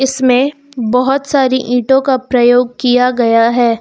इसमें बहोत सारी ईंटों का प्रयोग किया गया है।